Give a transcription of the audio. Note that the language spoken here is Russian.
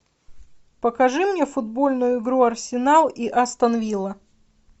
покажи мне футбольную игру арсенал и астон вилла